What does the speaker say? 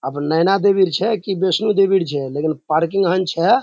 अब नैना देबीर छै की वैष्णो देबीर छै लेकिन पार्किंग हन छै।